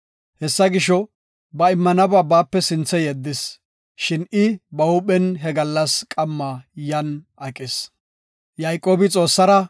Hessa gisho, ba immanaba baape sinthe yeddis. Shin I ba huuphen he gallas qamma yan aqis.